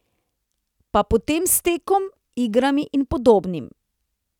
Pa potem s tekom, igrami in podobnim.